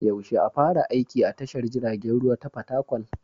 Yaushe a fara aiki a tashar jiragen ruwa ta Fatakwal?